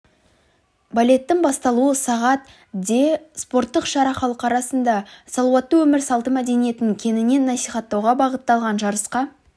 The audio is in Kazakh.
балеттің басталуы сағат де спорттық шара халық арасында салауатты өмір салты мәдениетін кеңінен насихаттауға бағытталған жарысқа